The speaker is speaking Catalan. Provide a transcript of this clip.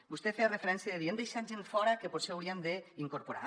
vostè hi feia referència dient hem deixat gent fora que potser hi hauríem d’incorporar